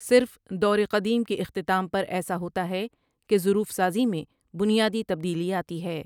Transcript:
صرف دور قدیم کے اختتام پر ایسا ہوتا ہے کہ ضروف سازی میں بنیادی تبدیلی آتی ہے ۔